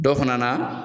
Dɔ fana na